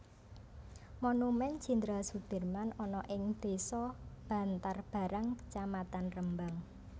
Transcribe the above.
Monumen Jenderal Soedirman ana ing desa Bantarbarang kecamatan Rembang